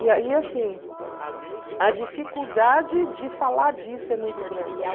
E aí, assim, a dificuldade de falar disso é muito grande.